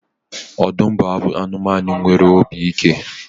Ọdụm bụ anụmanụ nwere obi ike